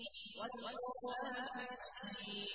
وَالْقُرْآنِ الْحَكِيمِ